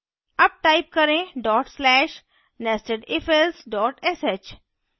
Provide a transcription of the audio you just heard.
अब type करें dot slash nestedifelse sh